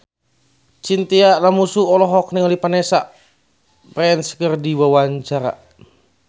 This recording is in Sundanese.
Chintya Lamusu olohok ningali Vanessa Branch keur diwawancara